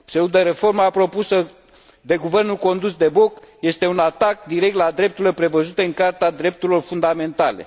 Pseudoreforma propusă de guvernul condus de Boc este un atac direct la drepturile prevăzute în Carta Drepturilor Fundamentale.